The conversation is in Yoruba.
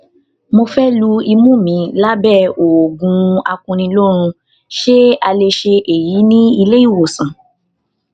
mo fẹ lu imú mi lábẹ òògùn akuniloorun ṣé a lè ṣe èyí ní ilé ìwòsàn